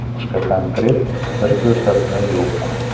Boshqa konkret bir ko‘rsatma yo‘q.